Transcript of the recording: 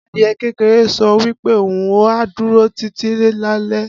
Adìe kékeré sọ wípé òhun á dúró títí láéláé